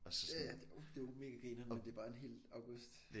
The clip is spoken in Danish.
Ja ja det er jo det er jo mega grineren men det er bare en hel august